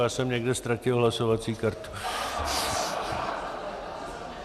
Já jsem někde ztratil hlasovací kartu.